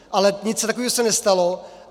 Ale nic takového se nestalo.